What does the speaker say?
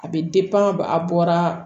A bɛ a bɔra